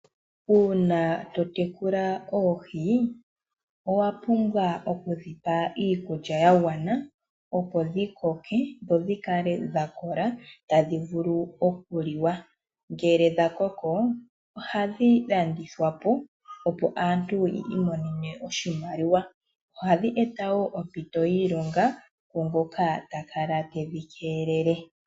Uuna to tekula oohi owapumbwa okudhipa iikulya yagwana opo dhi koke dho dhikale dhakola tadhi vulu okuliwa. Ngele dhakoko ohadhi landithwa po, opo aantu yiimonene oshimaliwa. Ohadhi eta woo ompito yiilonga kwaa ngoka ta kala tedhi keelele.